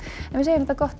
en við segjum þetta gott að